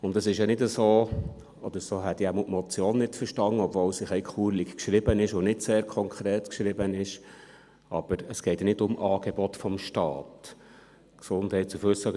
Und es ist ja nicht so – oder so hätte ich die Motion jedenfalls nicht verstanden, obwohl sie ein bisschen kurios und nicht sehr konkret geschrieben ist –, dass es um Angebote des Staates geht.